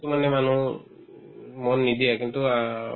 মানে মানুহৰ উম মন নিদিয়ে কিন্তু আ